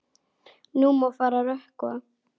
Nú má fara að rökkva.